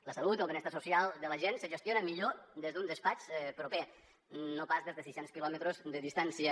la salut el benestar social de la gent se gestionen millor des d’un despatx proper no pas des de sis cents quilòmetres de distància